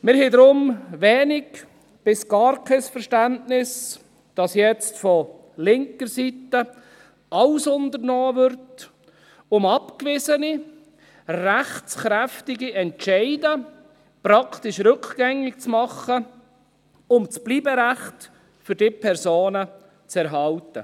Wir haben deshalb wenig bis gar kein Verständnis dafür, dass jetzt von linker Seite alles unternommen wird, um abweisende rechtskräftige Entscheide praktisch rückgängig zu machen, um das Bleiberecht für diese Personen zu erhalten.